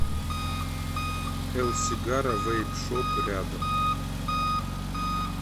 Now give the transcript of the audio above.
элсигара вэйп шоп рядом